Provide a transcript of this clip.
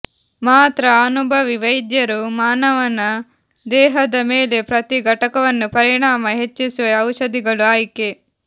ಮಾತ್ರ ಅನುಭವಿ ವೈದ್ಯರು ಮಾನವನ ದೇಹದ ಮೇಲೆ ಪ್ರತಿ ಘಟಕವನ್ನು ಪರಿಣಾಮ ಹೆಚ್ಚಿಸುವ ಔಷಧಿಗಳು ಆಯ್ಕೆ